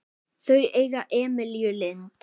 Þau eiga Emilíu Lind.